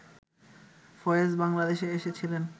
ফয়েজ বাংলাদেশে এসেছিলেন